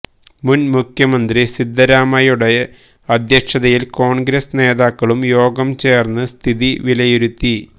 മുൻമുഖ്യമന്ത്രി സിദ്ധരാമയ്യയുടെ അധ്യക്ഷതയിൽ കോൺഗ്രസ് നേതാക്കളും യോഗംചേർന്ന് സ്ഥിതി വിലയിരുത്തി